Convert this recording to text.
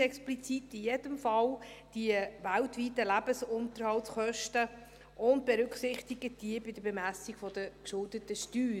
in jedem Fall explizit die weltweiten Lebensunterhaltskosten und berücksichtigt diese bei der Bemessung der geschuldeten Steuer.